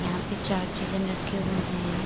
यहाँ पे चार चिकन रखे हुए है।